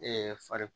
far